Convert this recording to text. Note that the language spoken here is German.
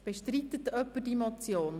– Bestreitet jemand die Motion?